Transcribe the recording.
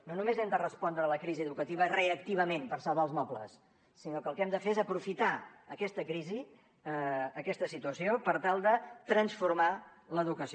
no només hem de respondre a la crisi educativa reactivament per salvar els mobles sinó que el que hem de fer és aprofitar aquesta crisi aquesta situació per tal de transformar l’educació